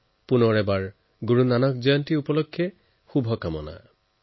পুনৰবাৰ গুৰু নানক জয়ন্তীত সকলোকে বহুত বহুত শুভকামনা জনাইছো